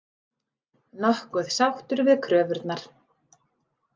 Nokkuð sáttur við kröfurnar